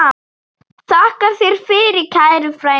Þakka þér fyrir, kæri frændi.